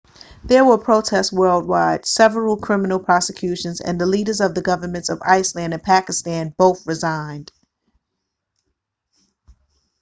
there were protests worldwide several criminal prosecutions and the leaders of the governments of iceland and pakistan both resigned